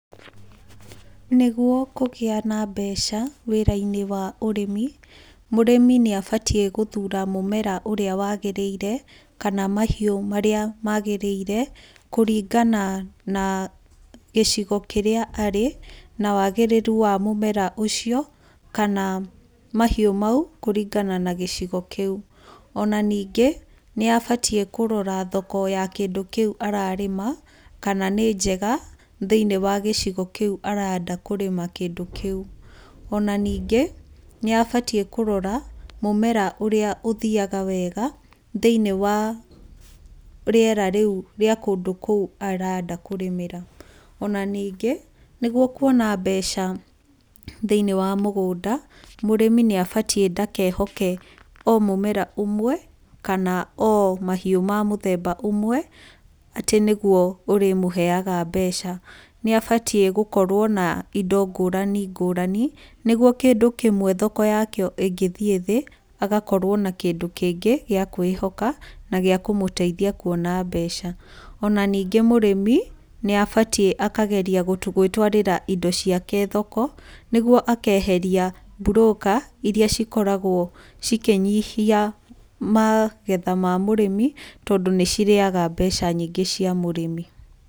Nĩgũo kũgĩa na mbeca, wĩra-inĩ wa ũrĩmi, mũrĩmi nĩ abatiĩ gũthura mũmera ũrĩa wagĩrĩire, kana mahiũ marĩa magĩrĩire, kũringana na gĩcigo kĩrĩa arĩ, na wagĩrĩrũ wa mũmera ũcio, kana mahiũ maũ, kũringana na gĩcigo kĩũ. Ona ningĩ, nĩ abatiĩ kũrora thoko ya kĩndũ kĩũ ararĩma, kana nĩ njega, thĩiniĩ wa gĩcigo kĩũ arenda kũrĩma kĩndũ kĩũ. Ona ningĩ, nĩ abatiĩ kũrora mũmera ũria ũthiaga wega, thĩiniĩ wa rĩera rĩũ rĩa kũndũ kũu arenda kũrĩmĩra. Ona ningĩ, nĩguo kũona mbeca thĩiniĩ wa mũgũnda, mũrĩmi nĩ abatiĩ ndakehoke o mũmera ũmwe, kana o mahiũ ma mũthemba ũmwe, atĩ nĩguo ũrĩmũheaga mbeca. Nĩ abatiĩ gũkorwo na indo ngũrani ngũrani, nĩguo kĩndũ kĩmwe thoko yakĩo ĩngĩthiĩ thĩ, agakorwo na kĩndũ kĩngĩ gĩa kwĩhoka, na gĩa kũmũteithia kũona mbeca. Ona ningĩ mũrĩmi, nĩ abatiĩ akageria gwĩtwarĩra indo ciake thoko, nĩguo akeheria mburũka irĩa cikoragwo cikĩnyihia magetha ma mũrĩmi, tondũ nĩ cirĩaga mbeca nyingĩ cia mũrĩmi.